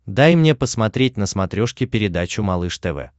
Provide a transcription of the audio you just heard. дай мне посмотреть на смотрешке передачу малыш тв